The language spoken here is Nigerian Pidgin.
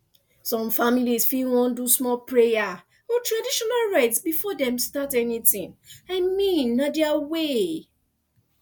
some families fit want do small prayer or traditional rites before dem start anything i mean na their way